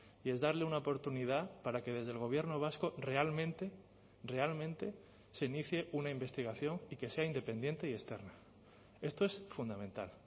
y es darle una oportunidad para que desde el gobierno vasco realmente realmente se inicie una investigación y que sea independiente y externa esto es fundamental